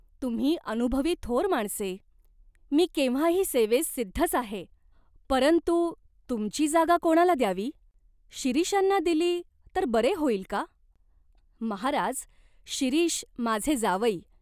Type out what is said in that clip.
तुम्ही अनुभवी थोर माणसे." "मी केव्हाही सेवेस सिद्धच आहे." "परंतु तुमची जागा कोणाला द्यावी ? शिरीषांना दिली तर बरे होईल का ?" "महाराज, शिरीष माझे जावई.